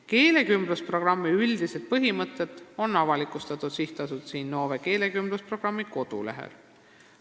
Keelekümblusprogrammi üldised põhimõtted on avalikustatud SA Innove keelekümblusprogrammi kodulehel.